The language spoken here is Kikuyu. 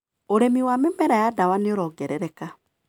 ũrĩmi wa mĩmera ya ndawa nĩũrongerereka.